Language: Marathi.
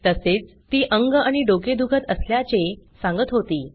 तसेच ती अंग आणि डोके दुखत असल्याचे सांगत होती